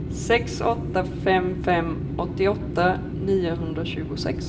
sex åtta fem fem åttioåtta niohundratjugosex